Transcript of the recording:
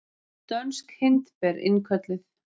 Dönsk hindber innkölluð